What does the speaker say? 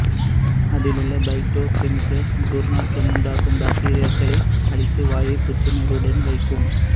அதிலுள்ள phyto chemicals துர்நாற்றம் உண்டாக்கும் பாக்டீரியாக்களை அழித்து வாயை புத்துணர்வுடன் வைக்கும்